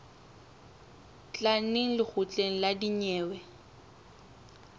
tla neng lekgotleng la dinyewe